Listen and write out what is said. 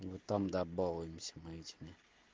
вот там да балуемся мы этими